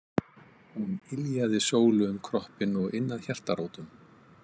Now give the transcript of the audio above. Hún yljaði Sólu um kroppinn og inn að hjartarótum.